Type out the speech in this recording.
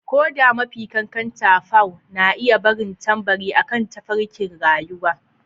Ko da mafi ƙanƙanta paw na iya barin tambari akan tafarkin rayuwa.